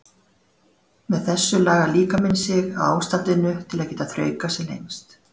Með þessu lagar líkaminn sig að ástandinu til að geta þraukað sem lengst.